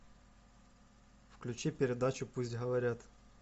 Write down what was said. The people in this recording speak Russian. включи передачу пусть говорят